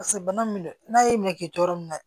Paseke bana min do n'a y'i minɛ k'i to yɔrɔ min na